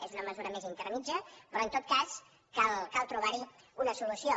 és una mesura més intermèdia però en tot cas cal trobar hi una solució